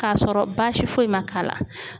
Kasɔrɔ baasi foyi ma k'a la.